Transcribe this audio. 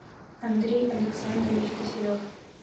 андрей александрович киселев